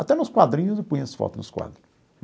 Até nos quadrinhos, eu punha as fotos nos quadro.